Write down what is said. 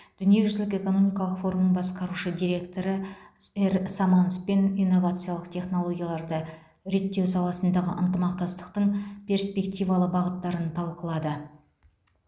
дүниежүзілік экономикалық форумның басқарушы директоры р саманспен инновациялық технологияларды реттеу саласындағы ынтымақтастықтың перспективалы бағыттарын талқылады